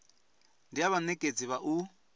ndi ha vhanekedzi vha u